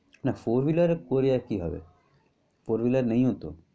না four-wheeler করে কি হবে? four-wheeler নেইও তো।